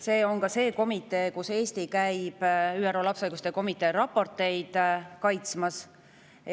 See on ühtlasi komitee, kus Eesti käib sellele komiteele raporteid kaitsmas.